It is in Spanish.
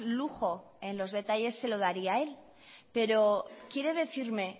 lujo en los detalles se lo daría el pero quiere decirme